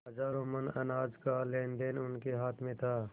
हजारों मन अनाज का लेनदेन उनके हाथ में था